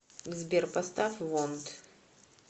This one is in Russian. сбер поставь вонт